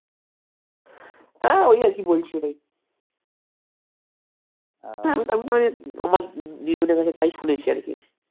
হ্যাঁ ঐ আরকি বলছি হ্যাঁ আমার দিদিমার কাছে তাই শুনেছি আরকি